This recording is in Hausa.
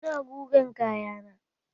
Ina gugan kayana